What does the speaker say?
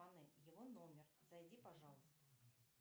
его номер зайди пожалуйста